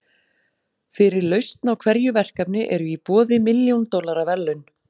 Fyrir lausn á hverju verkefni eru í boði milljón dollara verðlaun.